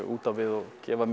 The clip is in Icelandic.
út á við og gefa